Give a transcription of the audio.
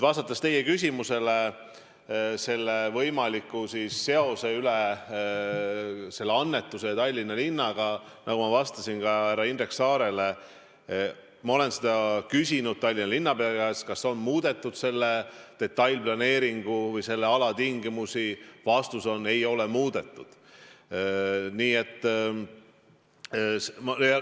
Vastates teie küsimusele selle võimaliku seose kohta selle annetuse ja Tallinna linna vahel, ütlen, nagu ma vastasin ka härra Indrek Saarele, et ma olen küsinud Tallinna linnapea käest, kas on muudetud selle detailplaneeringu või selle ala tingimusi, ja vastus on: ei ole muudetud.